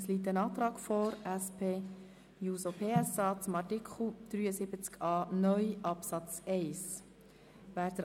Es liegt ein Antrag der SP-JUSO-PSA zu Artikel 73a (neu) Absatz 1 vor.